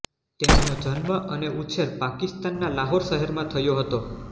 તેમનો જન્મ અને ઉછેર પાકિસ્તાનના લાહોર શહેરમાં થયો હતો